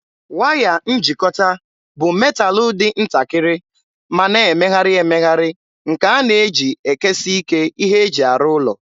Waya njikọta bụ metalụ dị ntakịrị ma na-emegharị emegharị nke a na-eji ekesiike ihe eji arụ ụlọ.